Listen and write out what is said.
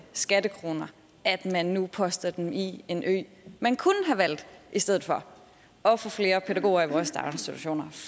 skattekroner at man nu poster dem i en ø man kunne have valgt i stedet for at få flere pædagoger i vores daginstitutioner